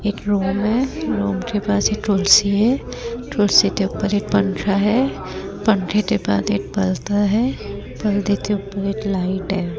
एक रूम है रूम के पास एक कुर्सी है कुर्सी के ऊपर एक पंखा है पंखे के पास एक पर्दा है पर्दे के ऊपर एक लाइट है।